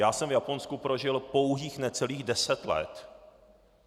Já jsem v Japonsku prožil pouhých necelých deset let.